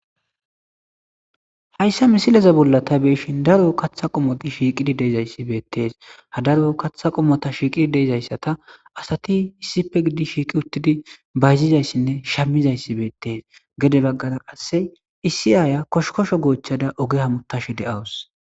Hayssa misileze bolla ta beeshin daro kaththa qomoti shiiqidi deezayssi beettees ha daro kaththa qomota shiiqidi deezayssata asati issife gidi shiiqi uttidi bayzizayssinne shammizayssi beettees gede baggara qasse issi aaya koshkosho goochchada oge ha mutash de'awus.